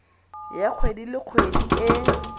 ya kgwedi le kgwedi e